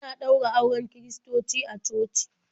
Ana ɗaura auren kiristoci a coci.